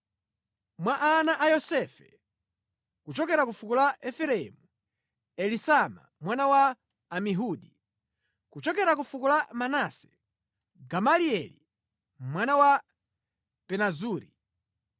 Mwa ana a Yosefe: kuchokera ku fuko la Efereimu, Elisama mwana wa Amihudi; kuchokera ku fuko la Manase, Gamalieli mwana wa Pedazuri;